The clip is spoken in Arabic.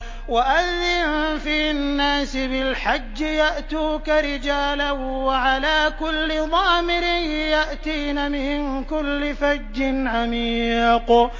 وَأَذِّن فِي النَّاسِ بِالْحَجِّ يَأْتُوكَ رِجَالًا وَعَلَىٰ كُلِّ ضَامِرٍ يَأْتِينَ مِن كُلِّ فَجٍّ عَمِيقٍ